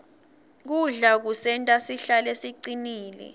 kudla kusenta sihlale sicinile